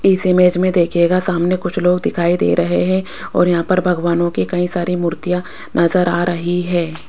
इस इमेज में देखिएगा सामने कुछ लोग दिखाई दे रहे हैं और यहां पर भगवानों की कई सारी मूर्तियां नजर आ रही है।